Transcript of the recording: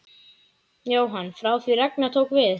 Jóhann: Frá því að Ragnar tók við?